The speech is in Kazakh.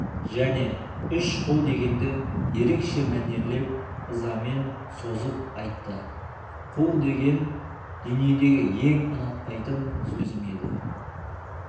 және үш қу дегенді ерекше мәнерлеп ызамен созып айтты қу деген дүниедегі ең ұнатпайтын сөзім еді